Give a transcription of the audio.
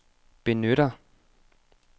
benytter